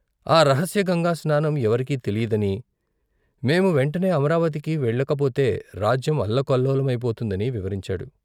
ఆ రహస్యగంగాస్నానం ఎవరికీ తెలియదని, మేము వెంటనే అమరావతికి వెళ్ళకపోతే రాజ్యం అల్లకల్లోలమైపోతుందని వివరించాడు.